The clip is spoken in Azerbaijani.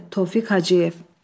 Tofiq Hacıyev.